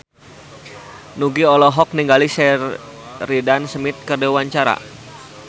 Nugie olohok ningali Sheridan Smith keur diwawancara